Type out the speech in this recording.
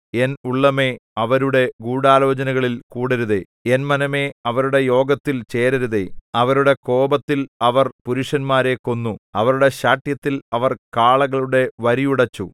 N ഉള്ളമേ അവരുടെ ഗൂഢാലോചനകളിൽ കൂടരുതേ എൻ മനമേ അവരുടെ യോഗത്തിൽ ചേരരുതേ അവരുടെ കോപത്തിൽ അവർ പുരുഷന്മാരെ കൊന്നു അവരുടെ ശാഠ്യത്തിൽ അവർ കാളകളുടെ വരിയുടച്ചു